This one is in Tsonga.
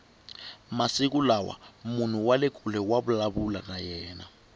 masiku lawa munhu wale kule wa vulavula na yena